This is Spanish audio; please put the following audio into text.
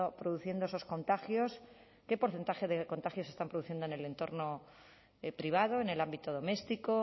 produciendo esos contagios qué porcentaje de contagios se están produciendo en el entorno privado en el ámbito doméstico